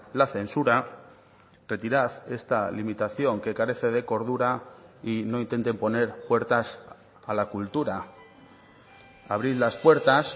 la censura retirad esta limitación que carece de cordura y no intenten poner puertas a la cultura abrir las puertas